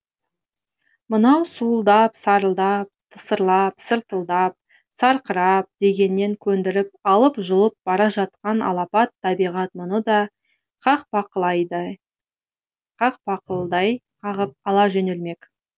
мынау суылдап сарылдап тысырлап сыр тылдап сарқырап дегеніне көндіріп алып жұлып бара жатқан алапат табиғат мұны да қақпақылдай қағып ала жөнелмек